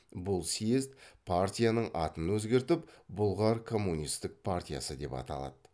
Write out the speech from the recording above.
бұл съезд партияның атын өзгертіп бұлғар коммунистік партиясы деп аталады